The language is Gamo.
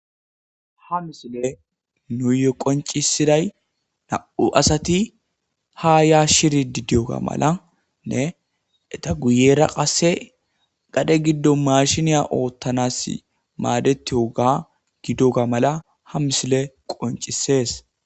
ha misile nuuye qoncisiday na7u asati ha yaashshiri didiyoga malanne eta guyera qasse gadhe giddo mashiniya oottanas maadetioga gidoga mala ha misile qoncisees